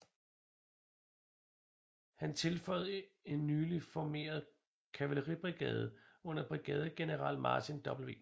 Han tilføjede en nyligt formeret kavaleribrigade under brigadegeneral Martin W